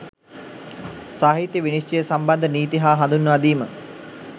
සාහිත්‍ය විනිශ්චය සම්බන්ධ නීති හා හඳුන්වා දීම